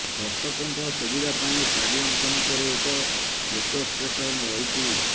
ଦର୍ଶକଙ୍କ ସୁବିଧା ପାଇଁ ଷ୍ଟାଡିୟମ୍ ସମ୍ମୁଖରେ ଏକ ମେଟ୍ରୋ ଷ୍ଟେସନ୍ ରହିଛି